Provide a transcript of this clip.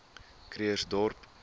krugersdorp